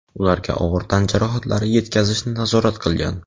ularga og‘ir tan jarohatlari yetkazishni nazorat qilgan.